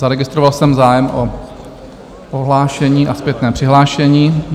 Zaregistroval jsem zájem o odhlášení a zpětné přihlášení.